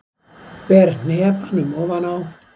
Ber hnefanum ofan á.